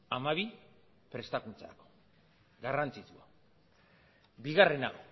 hamabi prestakuntzarako garrantzitsua bigarrena